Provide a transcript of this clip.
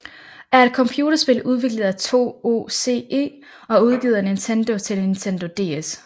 er et computerspil udviklet af TOSE og udgivet af Nintendo til Nintendo DS